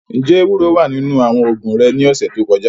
Njẹ ewuro wa ninu awọn oogun re ni ọsẹ to kọja?